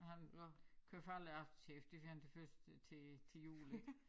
Og han køber aldrig aftershave det fordi han det først til til jul ik